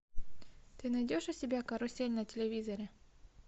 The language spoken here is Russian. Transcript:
ты найдешь у себя карусель на телевизоре